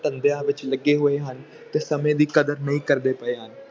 ਧੰਦਿਆਂ ਵਿੱਚ ਲੱਗੇ ਹੋਏ ਹਨ, ਤੇ ਸਮੇਂ ਦੀ ਕਦਰ ਨਹੀਂ ਕਰਦੇ ਪਏ ਹਨ।